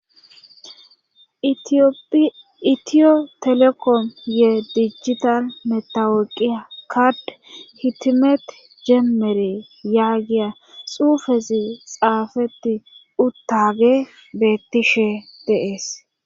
itiyo telekom yee dijita metawooqiya kard hitimet jeemmere yaagiya xuufezi xaafetti uttage bettishe de'ees